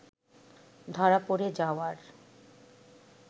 ধরা পড়ে যাওয়ার